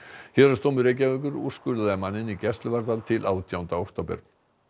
héraðsdómur Reykjavíkur úrskurðaði manninn í gæsluvarðhald til átjánda október